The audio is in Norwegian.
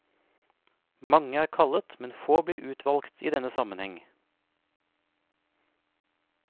Mange er kallet, men få blir utvalgt i denne sammenheng.